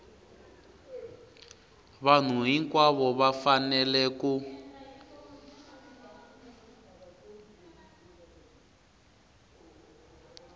vanhu hinkwavo va fanele ku